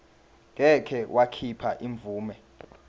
ngeke wakhipha imvume